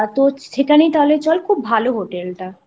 তো সেখানে চল খুব ভালো হোটেল টা।